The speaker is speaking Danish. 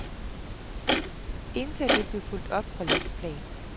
Intet af det blev fulgt op på landsplan.